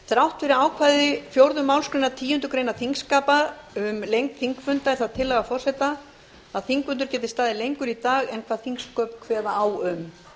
þrátt fyrir ákvæði fjórðu málsgreinar tíundu greinar þingskapa um lengd þingfunda er það tillagaforseta að þingfundur geti staðið lengur í dag en hvað þingsköp kveða á um